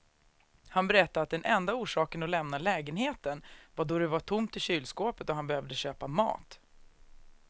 Han berättade att den enda orsaken att lämna lägenheten var då det var tomt i kylskåpet och han behövde köpa mat.